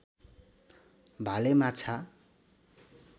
भाले माछा